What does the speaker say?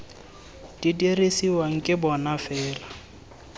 di dirisiwang ke bona fela